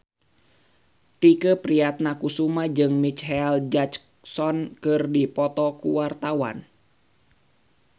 Tike Priatnakusuma jeung Micheal Jackson keur dipoto ku wartawan